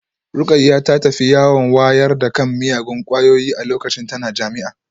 Rukayyah ta tafi yawon wayar da kan miyagun kwayoyi a lokacin tana jami'a